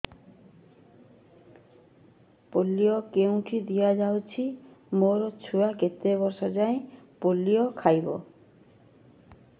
polio କେଉଁଠି ଦିଆଯାଉଛି ମୋ ଛୁଆ କେତେ ବର୍ଷ ଯାଏଁ ପୋଲିଓ ଖାଇବ